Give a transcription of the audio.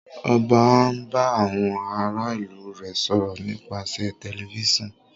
ọba n bá àwọn àrà ilu rẹ sọrọ nipasẹ Tẹlifísàn